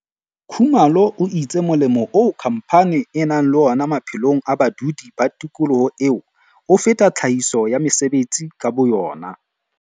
Khumalo o itse molemo oo khamphane e nang le wona maphelong a badudi ba tikoloho eo, o feta tlhahiso ya mesebetsi ka boyona.